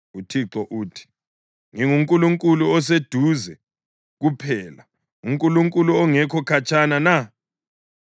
UThixo uthi, “NginguNkulunkulu oseduze kuphela, uNkulunkulu ongekho khatshana na?